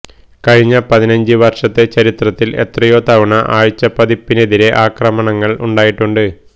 കഴിഞ്ഞ പതിനഞ്ച് വര്ഷത്തെ ചരിത്രത്തില് എത്രയോ തവണ ആഴ്ചപ്പതിപ്പിനെതിരെ ആക്രമണങ്ങള് ഉണ്ടായിട്ടുണ്ട്